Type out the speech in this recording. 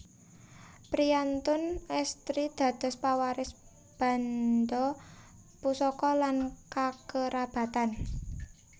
Priyantun èstri dados pawaris banda pusaka lan kakerabatan